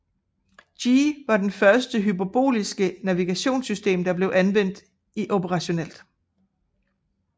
Gee var det første hyperboliske navigationssystem der blev anvendt operationelt